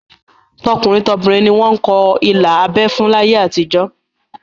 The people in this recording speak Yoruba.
Tọkùnrin tobìnrin ni wọ́n ń kọ ilà abẹ́ fún láyé àtijó